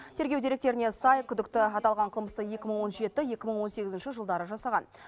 тергеу деректеріне сай күдікті аталған қылмысты екі мың он жеті екі мың он сегізінші жылдары жасаған